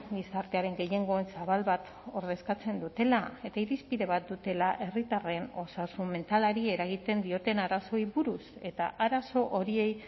gizartearen gehiengo zabal bat ordezkatzen dutela eta irizpide bat dutela herritarren osasun mentalari eragiten dioten arazoei buruz eta arazo horiei